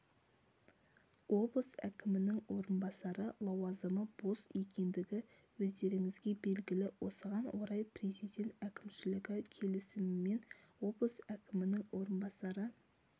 облыс әкімінің орынбасары лауазымы бос екендігі өздеріңізге белгілі осыған орай президент әкімшілігі келісімімен облыс әкімінің орынбасары